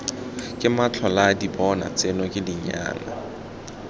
ke matlholaadibona tseno ke dinyana